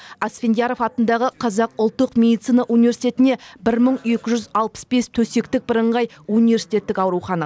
асфендияров атындағы қазақ ұлттық медицина университетінде бір мың екі жүз алпыс бес төсектік бірыңғай университеттік аурухана